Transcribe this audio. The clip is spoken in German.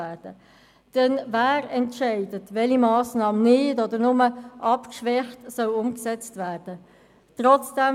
Denn, wer entscheidet, welche Massnahme nicht oder nur abgeschwächt umgesetzt werden sollen?